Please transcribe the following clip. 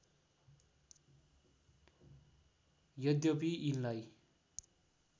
यद्यपि यिनलाई